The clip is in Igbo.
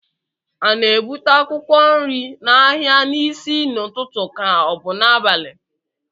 a na-ebute akwụkwọ nri n'ahịa n'isi n'ụtụtụ ka ọ bụ n'abalị